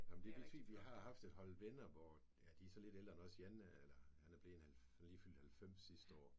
Ja men det vist fint for vi har haft et hold venner hvor ja de er så lidt ældre end os ja Jan han er blevet han er han lige fyldt 90 sidste år